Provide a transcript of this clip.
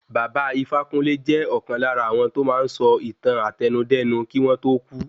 Baba Ifákúnle jẹ́ ọ̀kan lára áwọn to máa ń sọ ìtàn àtẹnudẹ́nu kí wọ́n tó kú